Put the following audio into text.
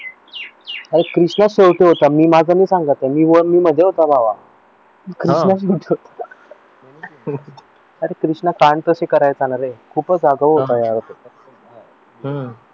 अरे कृष्णा शेवटी होता मी माझं नाही सांगत मी वर मध्ये होता भावा अरे कृष्णा कांड तसं करायचं ना रे आगाऊ होता